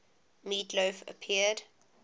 meat loaf appeared